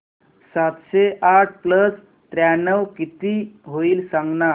सातशे आठ प्लस त्र्याण्णव किती होईल सांगना